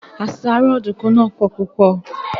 Àṣàrò Ọ̀dùnkún náà pò púpò